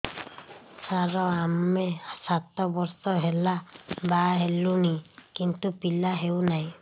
ସାର ଆମେ ସାତ ବର୍ଷ ହେଲା ବାହା ହେଲୁଣି କିନ୍ତୁ ପିଲା ହେଉନାହିଁ